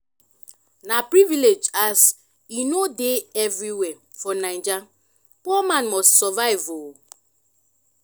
na privilege as e no dey evriwhere for naija poor man must survive o